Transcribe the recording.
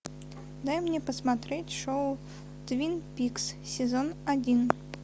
дай мне посмотреть шоу твин пикс сезон один